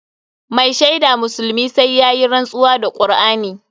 Mai shaida musulmi sai yayi rantsuwa da Kur'ani.